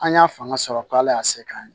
An y'a fanga sɔrɔ k' ala y'a se k'an ye